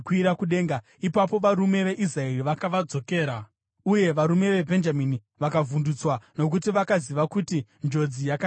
Ipapo varume veIsraeri vakavadzokera, uye varume veBhenjamini vakavhundutswa, nokuti vakaziva kuti njodzi yakanga yavawira.